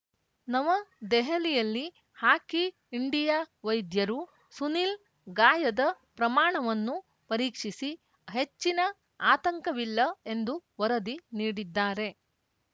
ನವದೆಹಲಿಯಲ್ಲಿ hockey India ವೈದ್ಯರು ಸುನಿಲ್‌ ಗಾಯದ ಪ್ರಮಾಣವನ್ನು ಪರೀಕ್ಷಿಸಿ ಹೆಚ್ಚಿನ ಆತಂಕವಿಲ್ಲ ಎಂದು ವರದಿ ನೀಡಿದ್ದಾರೆ